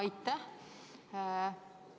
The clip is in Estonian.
Aitäh!